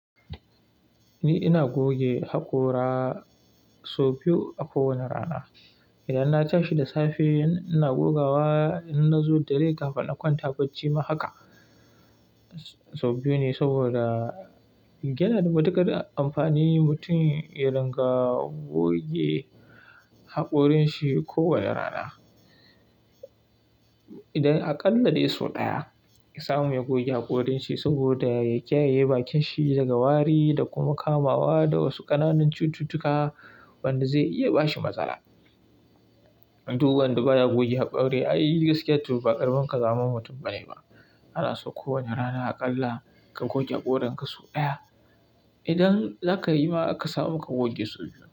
Ni ina goge haƙora, sau biyu a kowane rana. Idan na tashi da safe ina gogawa, in na zo dare kafin in kwanta bacci ma haka. Sau biyu ne saboda, yana da matukar amfani mutum ya ringa goge haƙorin shi kowane rana. Idan a ƙalla dai sau ɗaya, ya samu ya goge haƙorin shi saboda ya kiyaye bakin shi daga wari, da kuma kamawa da wasu ƙananan cututtuka wanda zai iya bashi matsala. Duk wanda ba ya goge haƙori ai gaskiya to ba ƙaramin ka za min mutum ba ne ba. Ana sin kowane rana, a ƙalla ka goge haƙorin ka sau ɗaya. Idan za ka yi ma aka samu ka goge sau biyu.